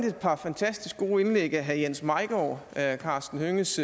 et par fantastisk gode indlæg af jens maigaard herre karsten hønges